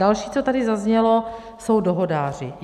Další, co tady zaznělo, jsou dohodáři.